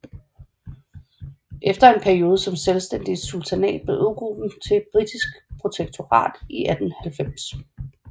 Efter en periode som selvstændig sultanat blev øgruppen et britisk protektorat i 1890